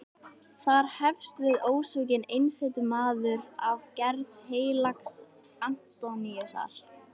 Þar hefst við ósvikinn einsetumaður af gerð heilags Antóníusar.